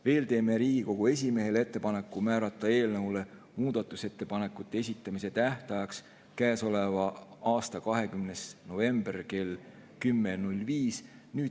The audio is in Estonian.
Veel teeme Riigikogu esimehele ettepaneku määrata eelnõu muudatusettepanekute esitamise tähtajaks käesoleva aasta 20. november kell 10.05.